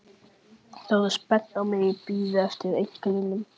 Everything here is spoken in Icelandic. Þau horfðu spennt á mig og biðu eftir einkennunum.